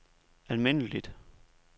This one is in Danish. almindeligt